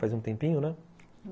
Faz um tempinho, né?